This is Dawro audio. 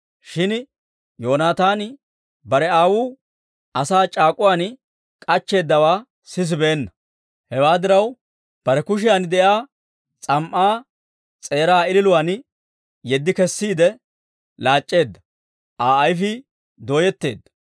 Shin Yoonaataani bare aawuu asaa c'aak'uwaan k'achcheeddawaa sisibeenna. Hewaa diraw, bare kushiyan de'iyaa s'am"aa s'eeraa ililuwaan yeddi kessiide, laac'c'eedda; Aa ayfii dooyetteedda.